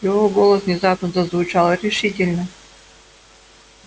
его голос внезапно зазвучал решительно